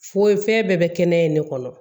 Fo fɛn bɛɛ bɛ kɛnɛ in de kɔnɔ